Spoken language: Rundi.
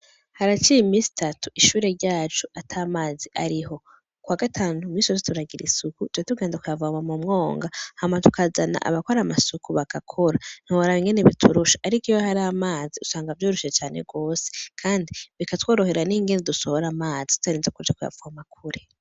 Haraciye iminsi itatu ishure ryacu atamazi ariho kuwa gatanu iminsi yose turagira isuku catugenda kuyavoma mu mwoga hama tukazana abakora amasuku bagakora ntiworaba ingene biturusha ariko iyo har'amazi usanga vyoroshe cane gose kandi bikatworohera ningene dusohora amazi tutarinze kuja kuyavoma kure